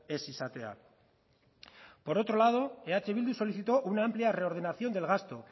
ez izatea por otro lado eh bildu solicitó una amplia reordenación del gasto